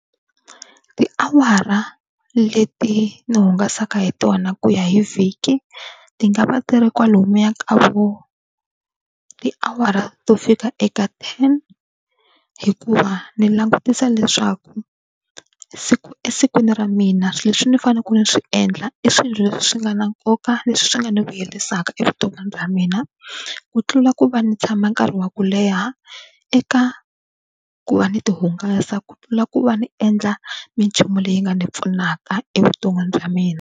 Tiawara leti ni hungasaka hi tona ku ya hi vhiki ti nga va ti ri kwalomuya ka vo tiawara to fika eka ten, hikuva ndzi langutisa leswaku esikwini ra mina leswi ni faneleke ni swi endla i swilo leswi nga na nkoka leswi swi nga ni vuyerisaka evuton'wini bya mina ku tlula ku va ni tshama nkarhi wa ku leha eka ku va ni tihungasa ku tlula ku va ni endla minchumu leyi nga ni pfunaka evuton'wini bya mina.